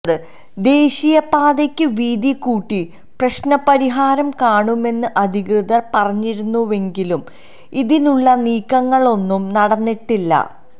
ദേശീയപാതക്ക് വീതി കൂട്ടി പ്രശ്നപരിഹാരം കാണുമെന്ന് അധികൃതര് പറഞ്ഞിരുന്നുവെങ്കിലും ഇതിനുള്ള നീക്കങ്ങളൊന്നും നടന്നിട്ടില്ല